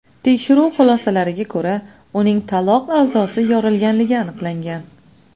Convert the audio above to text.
Tekshiruv xulosalariga ko‘ra, uning taloq a’zosi yorilganligi aniqlangan.